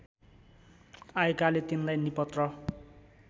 आएकाले तिनलाई निपत्र